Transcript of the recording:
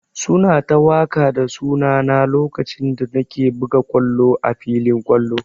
Su na ta waƙa da suna na lokacin da na ke buga ƙwallo a filin ƙwallo.